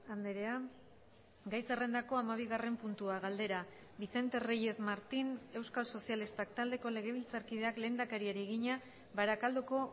andrea gai zerrendako hamabigarren puntua galdera vicente reyes martín euskal sozialistak taldeko legebiltzarkideak lehendakariari egina barakaldoko